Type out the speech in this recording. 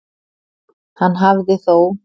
Hann hafi þó